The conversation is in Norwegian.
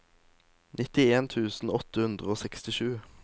nittien tusen åtte hundre og sekstisju